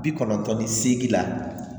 Bi kɔnɔntɔn ni seegin la